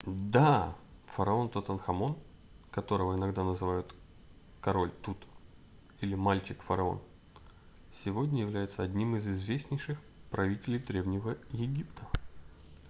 да фараон тутанхамон которого иногда называют король тут или мальчик-фараон сегодня является одним из известнейших правителей древнего египта